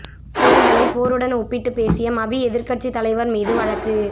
தேர்தலை போருடன் ஒப்பிட்டு பேசிய மபி எதிர்க்கட்சி தலைவர் மீது வழக்கு